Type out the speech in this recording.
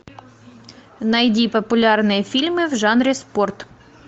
найди популярные фильмы в жанре спорт